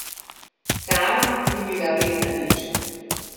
Sama ni bila vredna nič.